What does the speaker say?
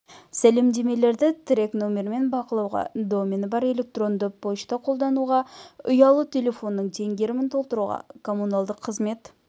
сәлемдемелерді трек нөмірмен бақылауға домені бар электронды пошта қолдануға ұялы телефонның теңгерімін толтыруға коммуналдық қызмет